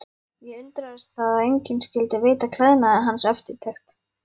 Ég undraðist það að enginn skyldi veita klæðnaði hans eftirtekt.